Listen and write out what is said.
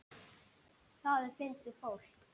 Það er fyndið fólk.